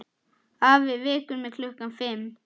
Afi vekur mig klukkan fimm.